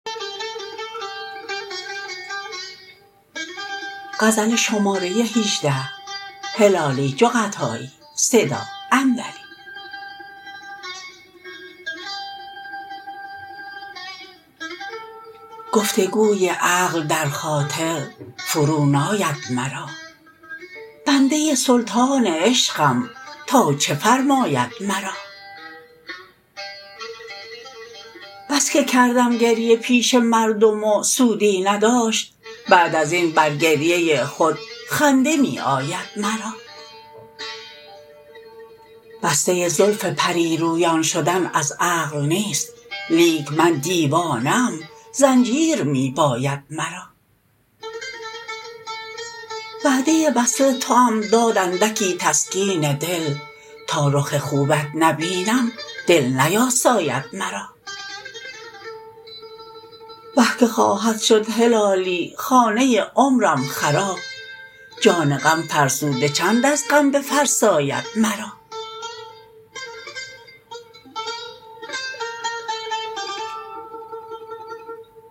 گفتگوی عقل در خاطر فرو ناید مرا بنده سلطان عشقم تا چه فرماید مرا بسکه کردم گریه پیش مردم و سودی نداشت بعد ازین بر گریه خود خنده میآید مرا بسته زلف پریرویان شدن از عقل نیست لیک من دیوانه ام زنجیر میباید مرا وعده وصل توام داد اندکی تسکین دل تا رخ خوبت نبینم دل نیاساید مرا وه که خواهد شد هلالی خانه عمرم خراب جان غم فرسوده چند از غم بفرساید مرا